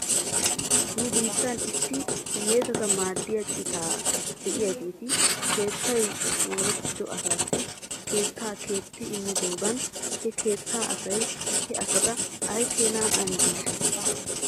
Nu biittan issi hiyeesata maaddiyaa cita de'iyaageetti keettay moorettido asaasi keettaa keexxi immidoogan he keetta asay he asata aykeenaa amjjideeshsha?